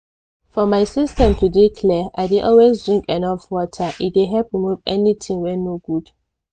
for my system to dey clear i dey always drink enough water e dey help remove anything wey no good.